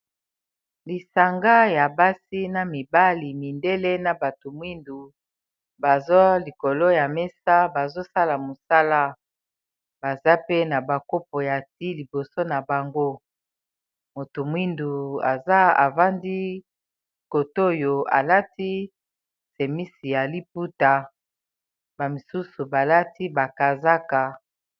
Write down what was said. Lisanga ya basi na mibali, mindele na bato mwindu baza likolo ya mesa bazo sala mosala . Baza pe na ba kopo ya the liboso na bango, moto mwindu aza a vandi cot'oyo a lati simisi ya liputa, ba misusu ba lati ba kazaka .